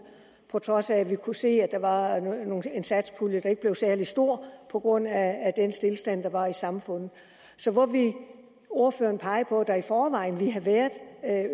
på trods af at vi kunne se at der var en satspulje der ikke blev særlig stor på grund af den stilstand der var i samfundet så hvor vil ordføreren pege på at der i forvejen ville have været